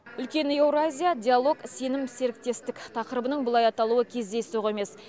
үлкен еуразия диалог сенім серіктестік тақырыбының бұлай аталуы кездейсоқ емес